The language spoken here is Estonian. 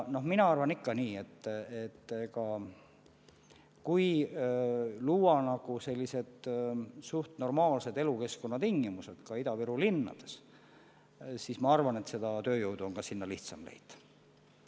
Mina arvan, et kui luua suhteliselt normaalsed elukeskkonna tingimused ka Ida-Viru linnades, siis on ka tööjõudu sinna lihtsam leida.